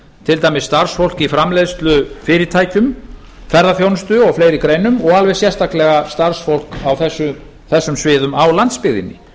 til dæmis starfsfólk í framleiðslufyrirtækjum ferðaþjónustu og fleiri greinum og alveg sérstaklega starfsfólk á þessum sviðum á landsbyggðinni